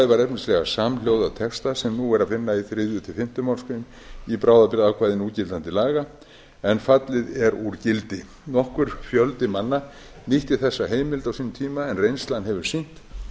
ákvæðið var efnislega samhljóða texta sem nú er að finna í þriðja til fimmtu málsgrein í bráðabirgðaákvæði núgildandi laga en fallin eru úr gildi nokkur fjöldi manna nýtti þessa heimild á sínum tíma en reynslan hefur sýnt